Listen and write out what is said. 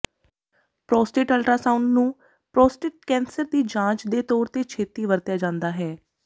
prostate ultrasound ਨੂੰ prostate cancer ਦੀ ਜਾਂਚ ਦੇ ਤੌਰ ਤੇ ਛੇਤੀ ਵਰਤਿਆ ਜਾਂਦਾ ਹੈ